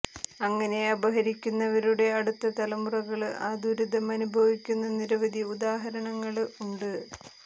അങ്ങനെ അപഹരിക്കുന്നവരുടെ അടുത്ത തലമുറകള് ആ ദുരിതം അനുഭവിക്കുന്ന നിരവധി ഉദാഹരണങ്ങള് ഉണ്ട്